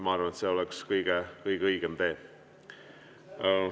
Ma arvan, et see oleks kõige õigem tee.